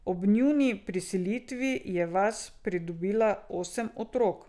Ob njuni priselitvi je vas pridobila osem otrok.